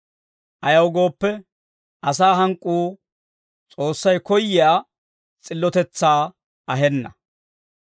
Ayaw gooppe, asaa hank'k'uu S'oossay koyyiyaa s'illotetsaa ahenna.